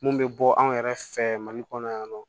Mun bɛ bɔ anw yɛrɛ fɛ mali kɔnɔ yan nɔ